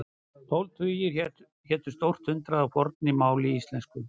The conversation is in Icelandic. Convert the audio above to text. Tólf tugir hétu stórt hundrað í fornu máli íslensku.